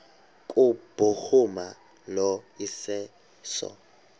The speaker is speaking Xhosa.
kubhuruma lo iseso